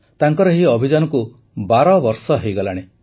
ତାଙ୍କର ଏହି ଅଭିଯାନକୁ ବାରବର୍ଷ ହୋଇଗଲାଣି